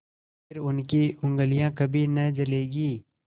फिर उनकी उँगलियाँ कभी न जलेंगी